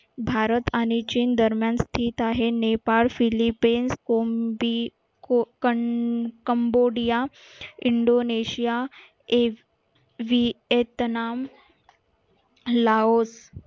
भारत आणि चीन दरम्यान आहे नेपाळ philippines indonesia cambodia